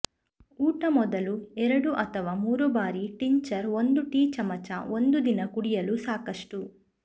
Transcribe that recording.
ಊಟ ಮೊದಲು ಎರಡು ಅಥವಾ ಮೂರು ಬಾರಿ ಟಿಂಚರ್ ಒಂದು ಟೀಚಮಚ ಒಂದು ದಿನ ಕುಡಿಯಲು ಸಾಕಷ್ಟು